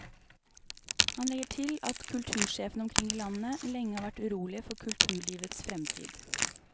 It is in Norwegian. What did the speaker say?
Han legger til at kultursjefene omkring i landet lenge har vært urolige for kulturlivets fremtid.